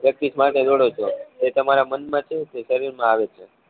practice માટે દોડો છો તો એ તમારા મન માંથી ઉતરી શરીર માં આવે છે